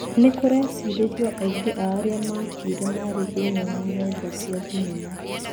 Nĩ kũrecirĩrio aingĩ a arĩa makuire marĩ thĩiniĩ wa nyũmba cia thĩnema.